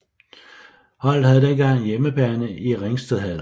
Holdet havde dengang hjemmebane i Ringstedhallerne